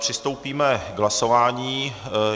Přistoupíme k hlasování.